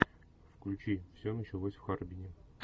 включи все началось в харбине